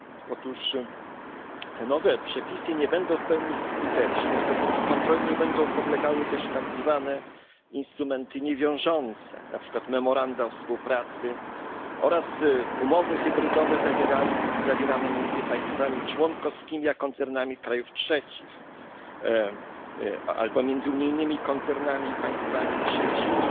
Otóż te nowe przepisy nie będą w pełni skuteczne, dopóki kontroli nie będą podlegały też tak zwane instrumenty niewiążące, na przykład memoranda o współpracy oraz umowy hybrydowe zawierane między państwami członkowskimi a koncernami krajów trzecich, albo na przykład między unijnymi koncernami i państwami trzecimi,